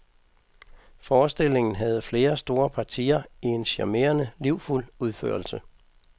Forestillingen havde flere store partier i en charmerende livfuld udførelse.